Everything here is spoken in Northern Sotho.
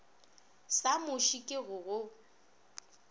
sa muši ke go o